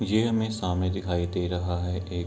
ये हमें सामने दिखाई दे रहा है एक --